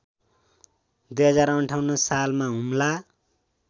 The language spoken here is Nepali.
२०५८ सालमा हुम्ला